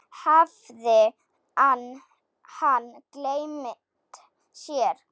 Hafði hann gleymt sér?